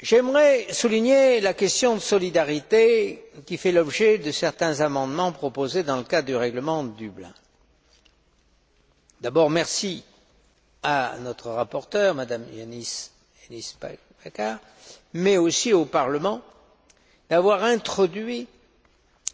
J'aimerais souligner la question de la solidarité qui fait l'objet de certains amendements proposés dans le cadre du règlement de Dublin. Je voudrais d'abord remercier notre rapporteure, M me Hennis Plasschaert, mais aussi le Parlement d'avoir introduit